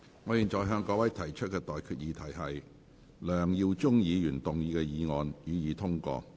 我現在向各位提出的待決議題是：梁耀忠議員動議的議案，予以通過。